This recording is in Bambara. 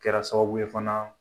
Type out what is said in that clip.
Kɛra sababu ye fana